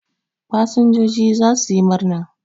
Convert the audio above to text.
Fasinjoji za su yi murna.